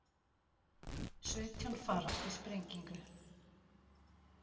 Sautján farast í sprengingu